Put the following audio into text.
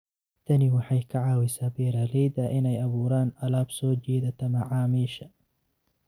Tani waxay ka caawisaa beeralayda inay abuuraan alaab soo jiidata macaamiisha.